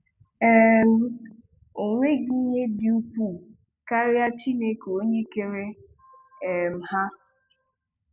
um Ọ nweghị ihe dị ukwuu karịa Chineke onye kere um ha.